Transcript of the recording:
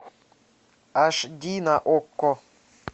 аш ди на окко